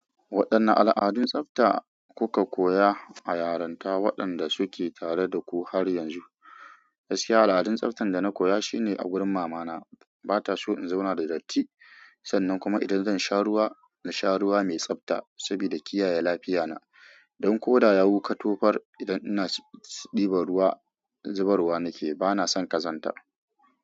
Waɗanne al’adun tsafta kuka koya a yaranta waɗanda suke tare da ku har yanzu? Gaskiya al’adun tsaftar da na koya shine a gurin mamana ba ta so in zauna da datti sannan kuma idan zan sha ruwa, na sha ruwa mai tsabta saboda kiyaye lafiyata. Don ko da yawu ka tofar idan ina ɗibar ruwa, zubarwa nake, ba na son ƙazanta.